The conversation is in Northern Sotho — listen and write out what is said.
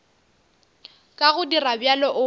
ka go dira bjalo o